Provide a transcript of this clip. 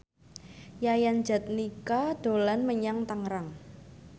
Yayan Jatnika dolan menyang Tangerang